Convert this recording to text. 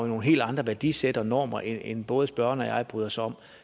nogle helt andre værdisæt og normer end både spørgeren og jeg bryder os om